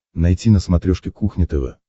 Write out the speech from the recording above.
найти на смотрешке кухня тв